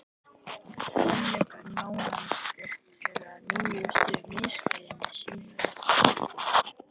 Svenni fær nánari fréttir af nýjustu misklíðinni síðar um kvöldið.